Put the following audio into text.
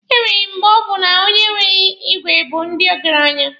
E nwere mgbe ọ bụ na onye nwere igwe bụ ndị ọgaranya.